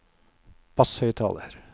basshøyttaler